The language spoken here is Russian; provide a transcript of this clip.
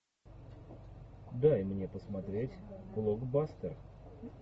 дай мне посмотреть блокбастер